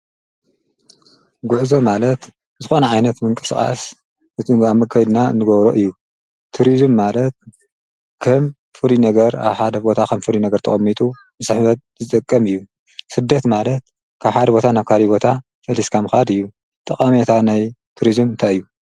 ጉዕዞ ማለት ዝኾነ ዓይነት ምንቅስቃስ ብተግባር ከይድና ንገብሮ እዩ፡፡ ትሪዙም ማለት ከም ኣብ ሓደ ቦታ ከም ፍሉይ ነገር ተቐሚጡ ንስሕበት ዝጠቅም እዩ፡፡ ስደት ማለት ካብ ሓደ ቦታ ናብ ካሊእ ቦታ ፈሊስካ ምኻድ እዩ፡፡ ጠቐሜታ ናይ ትሪዙም እንታይ እዩ፡፡